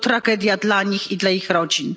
To tragedia dla nich i dla ich rodzin.